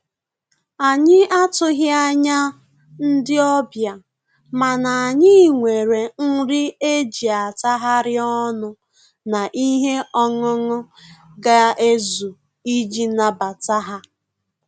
Anyị atụghị anya ndị ọbịa, mana anyị nwere nri e ji atagharị ọnụ na ihe ọńụńụ ga ezu iji nabata ha